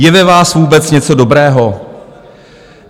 Je ve vás vůbec něco dobrého?